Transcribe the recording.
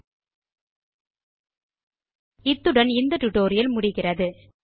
இத்துடன் LibreOffice writer க்கான spoken tutorial கள் முடிவுக்கு வருகின்றன